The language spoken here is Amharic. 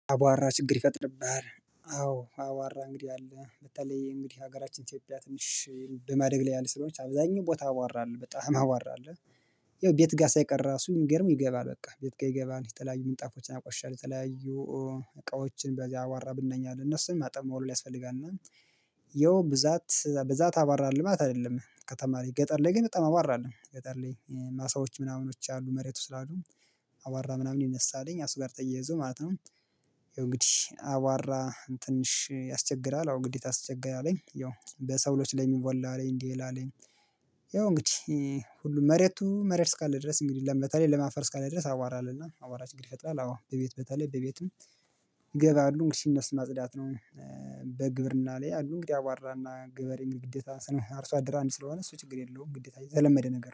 አቧራ ችግር ይፈጥርብሃል? አዎ አቧራ እንግዲህ አለ በተለይ እንግዲህ ሀገራችን ኢትዮጵያ ትንሽ በማደግ ላይ ያለች ስለሆነች አብዛኛው ቦታ አቧራ አለ በጣም አቧራ አለ። ያው ቤት ጋር ሳይቀር ራሱ ሚገርም ይገባል በቃ ቤት ጋር ይገባል የተለያዩ ምጣፎችን ያቆሽሻል የተለያዩ እቃዎችን በዚህ አቧራ ብናኝ አለና እነሱን ማጠብ መወልወል ያስፈልጋል። እና ያው ብዛት ብዛት አቧራአለ ማለት አይደለም። ከተማ ላይ ገጠር ላይ ግን በጣም አቧራአለ ገጠር ላይ ማሳዎች ምናምኖች አሉ መሬቱ ስላሉ አቧራ ምናምን ይነሳልኝ እሱ ጋር ተያይዞ ማለት ነው። እንግዲህ አቧራ ትንሽ ያስቸግራል አዎ እንግዲህ ያስቸግራልኝ አለኝ ያው በሰው ልጅ ላይ የሚወላ አለኝ እንዴ ይላል አለኝ። ያው እንግዲህ ሁሉም መሬቱ መሬት እስካለ ድረስ እንግዲህ ለም አፈር እስካለ ድረስ አቧራለሁና አቧራሽ እንግዲህ ችግር ይፈጥራል። አዎ በቤት በታለል በቤቱም ይገባሉ እንግዲህ እነሱን ማጽዳት ነው። በግብርና ላይ አንዱን ያቧራና ገበሬም ግዴታ ስንል አርሶ አደራ አንድ ስለሆነ እሱ ችግር የለውም ግዴታ የተለመደ ነገር